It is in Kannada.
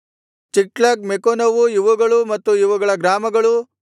ಚಿಕ್ಲಗ್ ಮೆಕೋನವೂ ಇವುಗಳೂ ಮತ್ತು ಇವುಗಳ ಗ್ರಾಮಗಳು